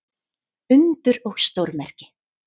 Undur og stórmerki.